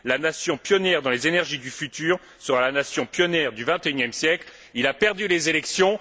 La nation pionnière dans les énergies du futur sera la nation pionnière du XXIe siècle. Il a perdu les élections.